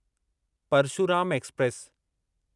Parshuram express